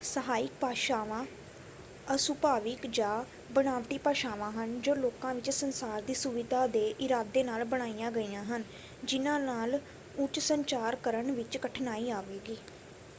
ਸਹਾਇਕ ਭਾਸ਼ਾਵਾਂ ਅਸੁਭਾਵਿਕ ਜਾਂ ਬਣਾਵਟੀ ਭਾਸ਼ਾਵਾਂ ਹਨ ਜੋ ਲੋਕਾਂ ਵਿੱਚ ਸੰਚਾਰ ਦੀ ਸੁਵਿਧਾ ਦੇ ਇਰਾਦੇ ਨਾਲ ਬਣਾਈਆਂ ਗਈਆਂ ਹਨ ਜਿੰਨ੍ਹਾਂ ਨਾਲ ਉਂਝ ਸੰਚਾਰ ਕਰਨ ਵਿੱਚ ਕਠਿਨਾਈ ਆਵੇਗੀ।